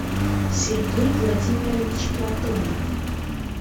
сергей владимирович платонов